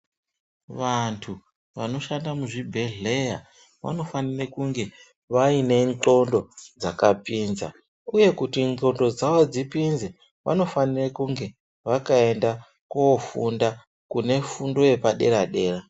Vantu vanoshanda muzvibhedhleya, vanofanire kunge vaine ndxondo dzakapinza, uye kuti ndxondo dzavo dzipinze, vanofanire kunge vakaenda koofunda, kune fundo yepadera-dera.